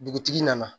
Dugutigi nana